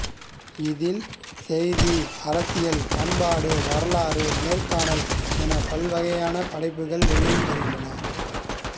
இதில் செய்தி அரசியல் பண்பாடு வரலாறு நேர்காணல் என பல வகையான படைப்புகள் வெளி வருகின்றன